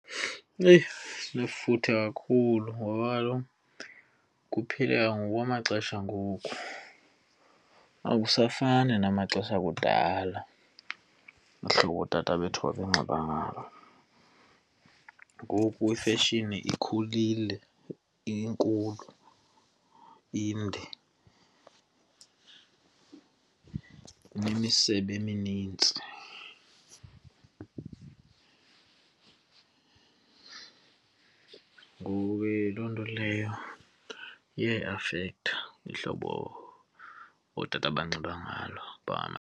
Eyi! Sinefuthe kakhulu ngoba kaloku kuphila ngokwamaxesha angoku, akusafani namaxesha akudala uhlobo ootata bethu babanxiba ngalo. Ngoku ifeshini ikhulile, inkulu, inde kunemisebe eminintsi. Ngoku ke yiloo nto leyo iyayiafektha ihlobo ootata abanxiba ngalo .